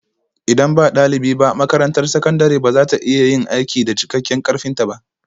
Idan ba ɗalibi ba, makarantar sakandare ba za ta iya yin aiki da cikakken ƙarfinta ba